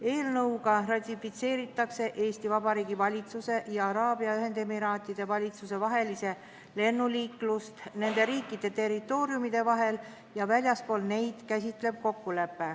Eelnõuga ratifitseeritakse Eesti Vabariigi valitsuse ja Araabia Ühendemiraatide valitsuse vaheline kokkulepe, mis käsitleb lennuliiklust nende riikide territooriumide vahel ja väljaspool neid riike.